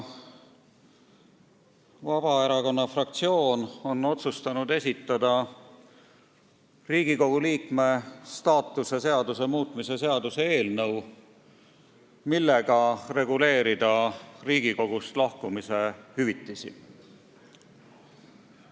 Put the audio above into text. Vabaerakonna fraktsioon on otsustanud esitada Riigikogu liikme staatuse seaduse muutmise seaduse eelnõu, millega reguleerida Riigikogust lahkumise hüvitisi.